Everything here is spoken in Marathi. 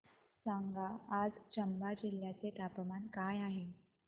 सांगा आज चंबा जिल्ह्याचे तापमान काय आहे